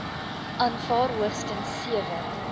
aanvaar hoogstens sewe